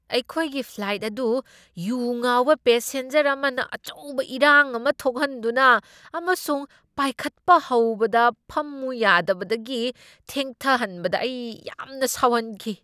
ꯑꯩꯈꯣꯏꯒꯤ ꯐ꯭ꯂꯥꯏꯠ ꯑꯗꯨ ꯌꯨ ꯉꯥꯎꯕ ꯄꯦꯁꯦꯟꯖꯔ ꯑꯃꯅ ꯑꯆꯧꯕ ꯏꯔꯥꯡ ꯑꯃ ꯊꯣꯛꯍꯟꯗꯨꯅ ꯑꯃꯁꯨꯡ ꯄꯥꯏꯈꯠꯄ ꯍꯧꯕꯗ ꯐꯝꯃꯨ ꯌꯥꯗꯕꯗꯒꯤ ꯊꯦꯡꯊꯍꯟꯕꯗ ꯑꯩ ꯌꯥꯝꯅ ꯁꯥꯎꯍꯟꯈꯤ ꯫